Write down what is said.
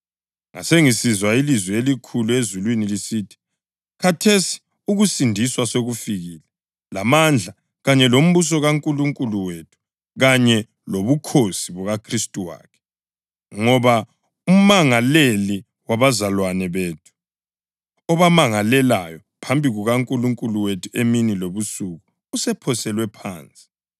Ngasengisizwa ilizwi elikhulu ezulwini lisithi: “Khathesi ukusindiswa sekufikile lamandla kanye lombuso kaNkulunkulu wethu kanye lobukhosi bukaKhristu wakhe. Ngoba umangaleli wabazalwane bethu, obamangalelayo phambi kukaNkulunkulu wethu emini lebusuku, usephoselwe phansi.